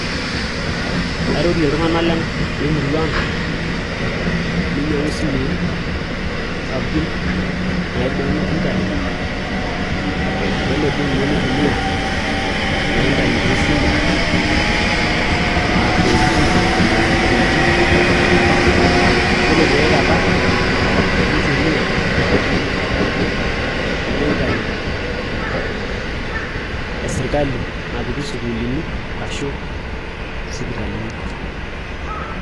Kairorie iltung'anak lemurua aang meinyiang'u isimui sapukin neibung internet peelo doi ninye neitumia na internet aa 4g arashuu 3g yiolo tiaekata neitumiaa ena internet esirkali napiki isukuulini ashuu isipitalini.